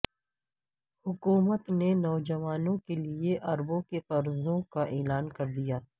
حکومت نے نوجوانوں کےلئے اربوں کے قرضوں کااعلان کردیا